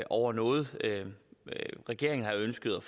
over noget regeringen har ønsket